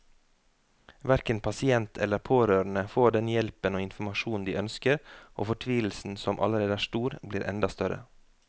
Hverken pasient eller pårørende får den hjelpen og informasjonen de ønsker, og fortvilelsen som allerede er stor, blir enda større.